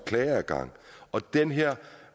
klageadgang og at den her